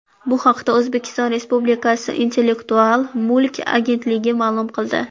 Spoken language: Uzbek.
Bu haqda O‘zbekiston respublikasi Intellektual mulk agentligi ma’lum qildi .